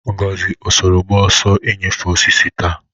Ngozi, ọ soro gba ọsọ inyefe osisi taa?